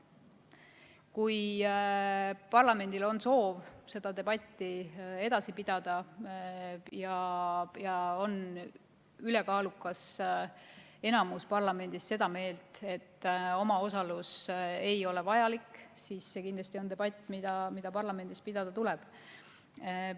Kui parlamendil on soov seda debatti edasi pidada ja on ülekaalukas enamus parlamendis seda meelt, et omaosalus ei ole vajalik, siis see kindlasti on debatt, mida parlamendis tuleb pidada.